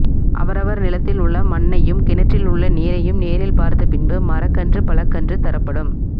அவரவர் நிலத்தில் உள்ள மண்ணையும் கிணற்றில் உள்ள நீரையும் நேரில் பார்த்த பின்பு மரக்கன்று பழக்கன்று தரப்படும்